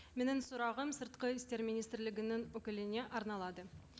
менің сұрағым сыртқы істер министрлігінің өкіліне арналады